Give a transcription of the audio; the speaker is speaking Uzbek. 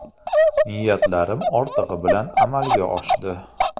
Niyatlarim ortig‘i bilan amalga oshdi.